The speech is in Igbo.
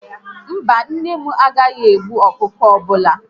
Mba, nne m agaghị egbu ọkụkọ ọbụla